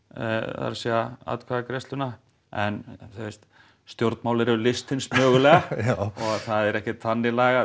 það er að atkvæðagreiðsluna en stjórnmál eru list hins mögulega og það er ekkert þannig lagað